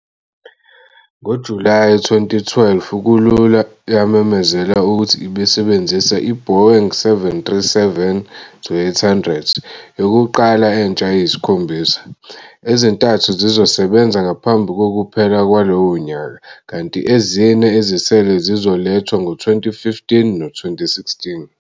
NgoJulayi 2012 kulula yamemezela ukuthi ibisebenzisa iBoeing 737-800 yokuqala entsha eyisikhombisa, ezintathu zizosebenza ngaphambi kokuphela kwalowo nyaka, kanti ezine ezisele zizolethwa ngo-2015 no-2016.